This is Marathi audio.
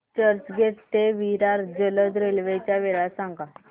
चर्चगेट ते विरार जलद रेल्वे च्या वेळा सांगा